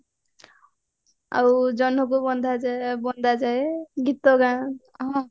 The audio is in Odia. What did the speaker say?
ଆଉ ଜହ୍ନକୁ ବନ୍ଧାଯାଏ ବନ୍ଦାଯାଏ ଗୀତ ଗାଁ